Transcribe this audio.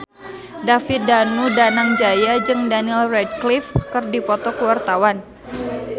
David Danu Danangjaya jeung Daniel Radcliffe keur dipoto ku wartawan